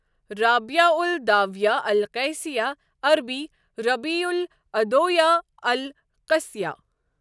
رابعہ الاداویہ القیصیہ عربی ربیعہ العدویاہ القصیۃ .